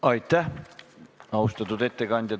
Aitäh, austatud ettekandja!